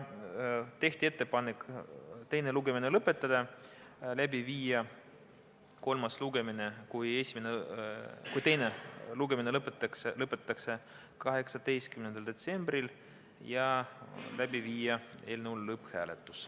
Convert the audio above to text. Tehti ettepanek teine lugemine lõpetada, läbi viia kolmas lugemine, kui teine lugemine lõpetatakse, 18. detsembril ja panna eelnõu lõpphääletusele.